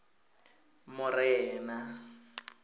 morena